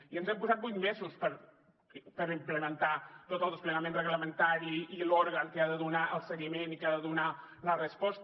i ens hem posat vuit mesos per implementar tot el desplegament reglamentari i l’òrgan que ha de donar el seguiment i que ha de donar la resposta